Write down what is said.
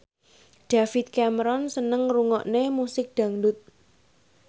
David Cameron seneng ngrungokne musik dangdut